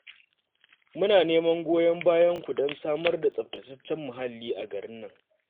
Muna neman goyon bayanku don samar da tsaftataccen muhalli a garin nan